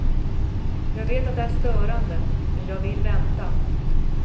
Jag vet att det är störande, men jag vill vänta.